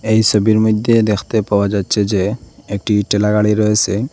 এই সবির মইধ্যে দেখতে পাওয়া যাচ্ছে যে একটি ঠেলা গাড়ি রয়েসে।